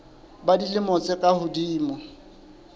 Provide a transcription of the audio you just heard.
ba dilemo tse ka hodimo